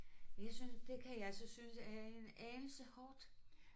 Jeg synes det kan jeg så synes jeg er en anelse hårdt